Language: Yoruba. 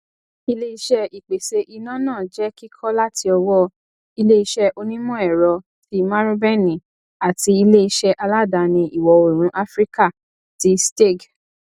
iléiṣé ìpèsè iná náà jẹ kíkọ láti ọwọ iléiṣé onimọẹrọ ti marubeni àti iléiṣé aládàáni ìwọ òórùn áfíríkà tí steag